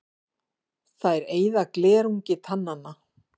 Þær eyða glerungi tannanna.